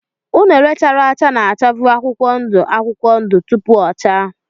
unine chara acha na-achavu akwụkwọ ndụ akwụkwọ ndụ tupu o chaa.